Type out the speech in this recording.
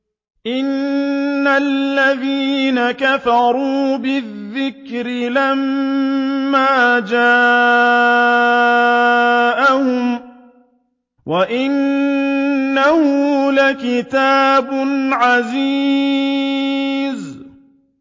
إِنَّ الَّذِينَ كَفَرُوا بِالذِّكْرِ لَمَّا جَاءَهُمْ ۖ وَإِنَّهُ لَكِتَابٌ عَزِيزٌ